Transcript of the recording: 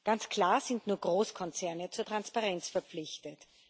Ganz klar sind nur Großkonzerne zur Transparenz verpflichtet.